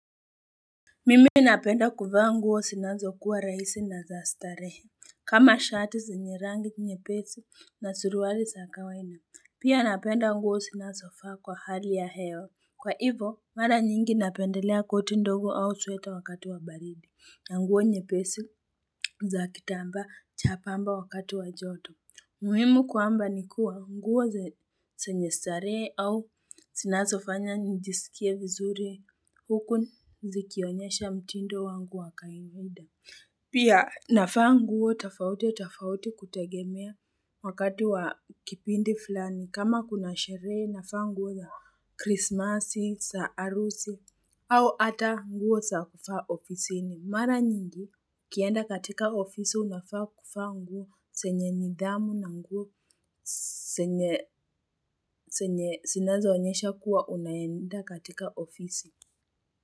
Mimi napenda kuvaa nguo zinazo kuwa rahisi na za starehe kama shati zenye rangi nyepesi na suruali za kawaina Pia napenda nguo zinazovaa kwa hali ya hewa Kwa hivo mara nyingi napendelea koti ndogo au sweta wakati wa baridi na nguo nyepesi za kitambaa cha pamba wakati wa joto muhimu kwamba ni kuwa nguo zenye starehe au zinasofanya nijisikie vizuri huku zikionyesha mtindo wangu wakaimunda. Pia nafaa nguo tafauti tofauti kutegemea wakati wa kipindi fulani. Kama kuna sherehe nafaa nguo za krismasi, za arusi au ata nguo za kufaa ofisini. Mara nyingi kienda katika ofisi unafaa kufaa nguo zenye nidhamu na nguo zenye zinazoonyesha kuwa unaenda katika ofisi.